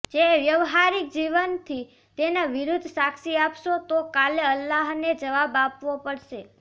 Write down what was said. જે વ્યવહારિક જીવનથી તેના વિરુદ્ધ સાક્ષી આપશો તો કાલે અલ્લાહને જવાબ આપવો પડશે